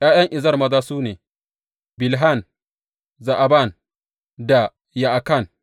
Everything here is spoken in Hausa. ’Ya’yan Ezer maza su ne, Bilhan, Za’aban da Ya’akan.